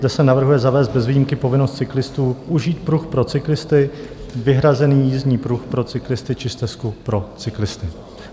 Zde se navrhuje zavést bez výjimky povinnost cyklistů užít pruh pro cyklisty, vyhrazený jízdní pruh pro cyklisty či stezku pro cyklisty.